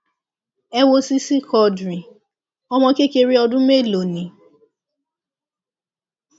ẹ wo sisi quadri ọmọ kékeré ọmọ ọdún mélòó ni